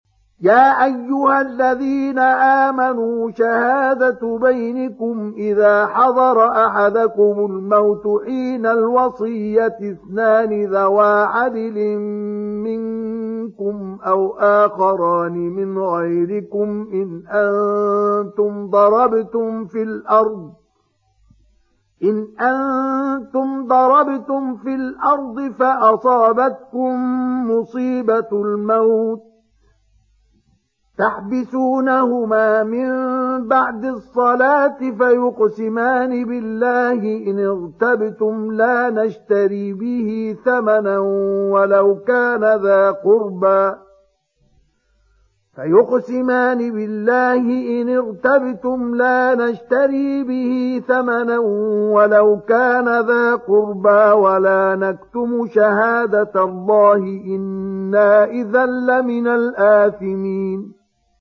يَا أَيُّهَا الَّذِينَ آمَنُوا شَهَادَةُ بَيْنِكُمْ إِذَا حَضَرَ أَحَدَكُمُ الْمَوْتُ حِينَ الْوَصِيَّةِ اثْنَانِ ذَوَا عَدْلٍ مِّنكُمْ أَوْ آخَرَانِ مِنْ غَيْرِكُمْ إِنْ أَنتُمْ ضَرَبْتُمْ فِي الْأَرْضِ فَأَصَابَتْكُم مُّصِيبَةُ الْمَوْتِ ۚ تَحْبِسُونَهُمَا مِن بَعْدِ الصَّلَاةِ فَيُقْسِمَانِ بِاللَّهِ إِنِ ارْتَبْتُمْ لَا نَشْتَرِي بِهِ ثَمَنًا وَلَوْ كَانَ ذَا قُرْبَىٰ ۙ وَلَا نَكْتُمُ شَهَادَةَ اللَّهِ إِنَّا إِذًا لَّمِنَ الْآثِمِينَ